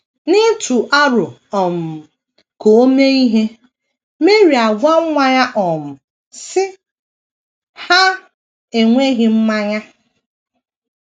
N’ịtụ aro um ka o mee ihe, Meri agwa nwa ya um, sị: “ Ha enweghị mmanya. ”